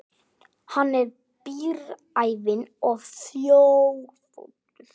Hann er bíræfinn og þjófóttur.